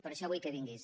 per això vull que vinguis